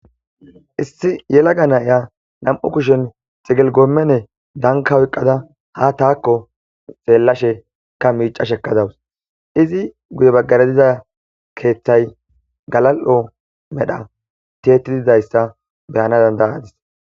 issi yelaga na7iya nam7u kushen xigil goommene danka oyqqada ha taakko xeellashekka miicashekka dawus izi guye baggare diza keeththay galal7o medha tiyetididayssa be7ana dandayadis.